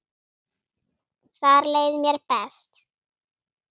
Þar leið mér best.